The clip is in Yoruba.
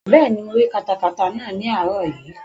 Bẹ́ẹ̀ni, mo rí katakata náà ní àárọ̀ yìí